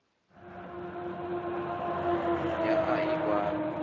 ya a a i kwami